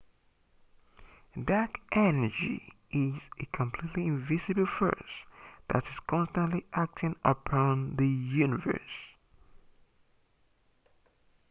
dark energy is a completely invisible force that is constantly acting upon the universe